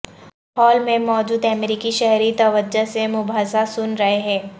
hall میں موجود امریکی شہری توجہ سے مباحثہ سن رہے ہیں